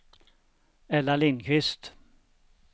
Ella Lindqvist